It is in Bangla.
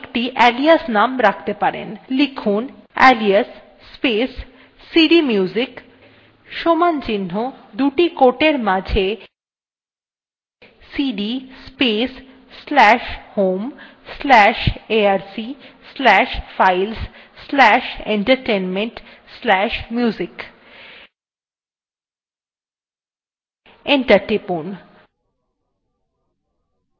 লিখুন alias space cdmusic সমান চিহ্ন দুটি quoteএর মাঝে cd space slash home slash arc slash files slash entertainment slash music enter press টিপুন